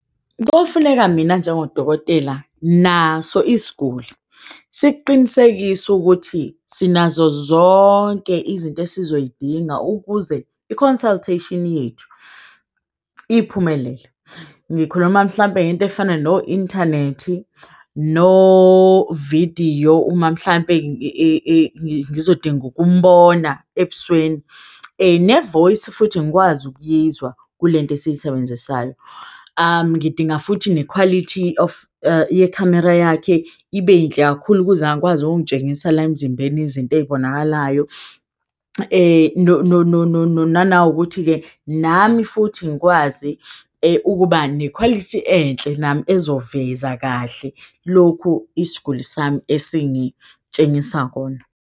Kofuneka mina njengodokotela naso isiguli siqinisekise ukuthi sinazo zonke izinto esizoyidinga ukuze i-consultation yethu iphumelele. Ngikhuluma mhlampe ngento efana no-inthanethi, no-vidiyo uma mhlampe ngizodinga ukumbona ebusweni, ne-voice futhi ngikwazi ukuyizwa kule nto esiyisebenzisayo. Ngidinga futhi ne-quality of ye-khamera yakhe ibe yinhle kakhulu ukuze akwazi ukungitshengisa la emzimbeni izinto ezibonakalayo. Nanokuthi-ke nami futhi ngikwazi ukuba nekhwalithi enhle nami ezoveza kahle lokhu isiguli sami esingitshengisa kona.